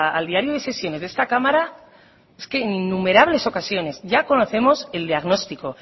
al diario de secciones de esta cámara en innumerables ocasiones ya conocemos el diagnóstico